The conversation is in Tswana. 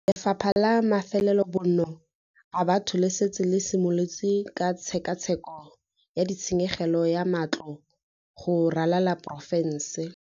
Lefapha la Mafelobonno a Batho le setse le simolotse ka tshekatsheko ya ditshenyegelo go matlo go ralala porofense.